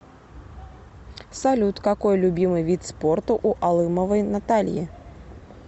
салют какой любимый вид спорта у алымовой натальи